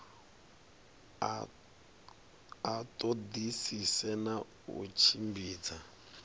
a ṱoḓisise na u tshimbidza